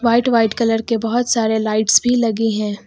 White white colour के बहुत सारे लाइट्स भी लगे है।